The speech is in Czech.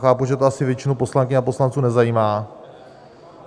Chápu, že to asi většinu poslankyň a poslanců nezajímá.